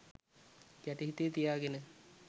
යටි හිතේ තියාගෙන.